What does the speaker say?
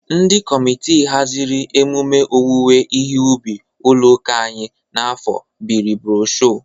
Ndị kọmitị hazịrị emume owuwe ihe ubi ụlọ akụ anyị n'afọ bịrị brosho.